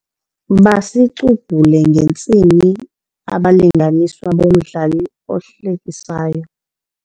Basicubhule ngentsini abalinganiswa bomdlalo ohlekisayo.